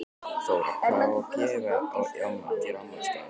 Þóra: Hvað á að gera á afmælisdaginn?